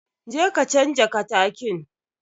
Je ka canja katakin.